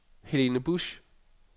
Helene Busch